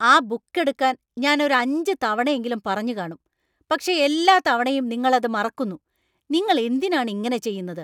ആ ബുക്ക് എടുക്കാൻ ഞാൻ ഒരു അഞ്ച് തവണയെങ്കിലും പറഞ്ഞു കാണും, പക്ഷേ എല്ലാ തവണയും നിങ്ങൾ അത് മറക്കുന്നു, നിങ്ങൾ എന്തിനാണ് ഇങ്ങനെ ചെയ്യുന്നത്?